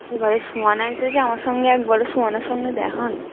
এবারে সোয়ান এসেছে আমার সঙ্গে একবারও সোয়ানের সঙ্গে দেখা হয়নি।